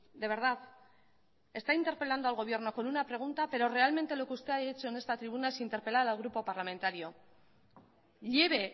de verdad está interpelando al gobierno con una pregunta pero realmente lo que usted ha hecho en esta tribuna es interpelar al grupo parlamentario lleve